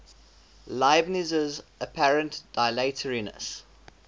leibniz's apparent dilatoriness